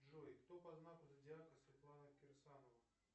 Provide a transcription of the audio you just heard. джой кто по знаку зодиака светлана кирсанова